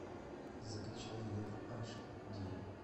закачай лев аш ди